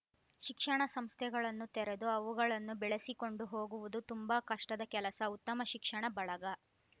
ಶಿಕ್ಷಣ ಸಂಸ್ಥೆಗಳನ್ನು ತೆರೆದು ಅವುಗಳನ್ನು ಬೆಳೆಸಿಕೊಂಡು ಹೋಗುವುದು ತುಂಬಾ ಕಷ್ಟದ ಕೆಲಸ ಉತ್ತಮ ಶಿಕ್ಷಣ ಬಳಗ